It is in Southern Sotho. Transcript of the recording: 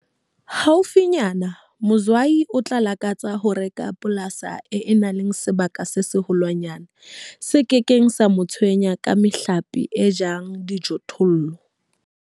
Haufinyana Mzwayi o tla lakatsa ho reka polasi e nang le sebaka se seholwanyane se ke keng sa mo tshwenya ka mehlape e jang dijothollo.